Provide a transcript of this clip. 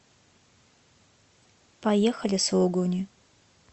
поехали сулугуни